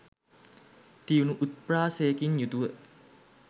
තියුණු උත්ප්‍රාසයකින් යුතුව